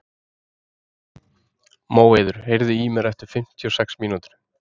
Móeiður, heyrðu í mér eftir fimmtíu og sex mínútur.